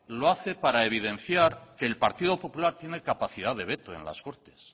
lo hace para evidenciar que el partido popular tiene capacidad de veto en las cortes